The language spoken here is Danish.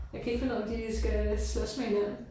Jeg kan ikke finde ud af om de skal slås med hinanden